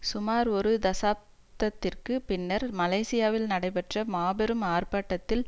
சுமார் ஒரு தசாப்தத்திற்கு பின்னர் மலேசியாவில் நடைபெற்ற மாபெரும் ஆர்பாட்டத்தில்